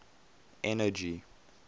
energy